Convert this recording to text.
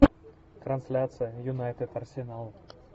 трансляция юнайтед арсенал